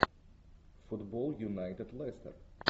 футбол юнайтед лестер